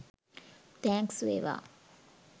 Thanks වේවා.